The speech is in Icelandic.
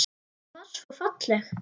Hún var svo falleg.